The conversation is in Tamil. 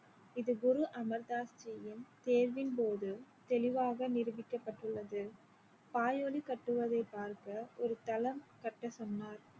இது குரு அமர் தாஸ்ஜியின் தேர்வின் போது தெளிவாக நிரூபிக்கப்பட்டுள்ளது கட்டுவதை பார்க்க ஒரு தளம் கட்ட சொன்னார்